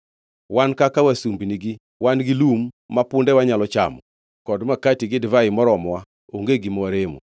Wan kaka wasumbinigi wan gi lum ma pundewa nyalo chamo kod makati gi divai moromowa; onge gima waremo.”